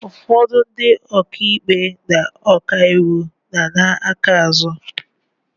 Ụfọdụ ndị oka ikpe na ọka iwu na-ana aka azụ.